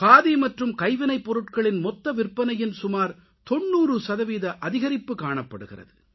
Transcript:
காதி மற்றும் கைவினைப்பொருட்களின் மொத்த விற்பனையின் சுமார் 90 சதவீத அதிகரிப்பு காணப்படுகிறது